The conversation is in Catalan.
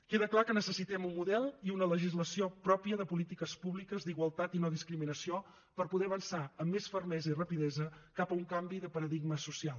queda clar que necessitem un model i una legislació pròpia de polítiques públiques d’igualtat i no discriminació per poder avançar amb més fermesa i rapidesa cap a un canvi de paradigma social